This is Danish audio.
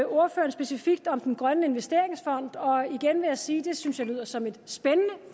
ordføreren specifikt om den grønne investeringsfond og igen vil jeg sige at det synes jeg lyder som et spændende